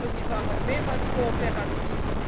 ist. Aber Sie waren mehr als kooperativ.